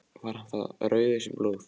Var hann þá rauður sem blóð.